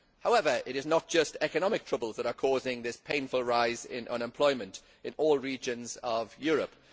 However, it is not just economic troubles that are causing this painful rise in unemployment in all regions of Europe.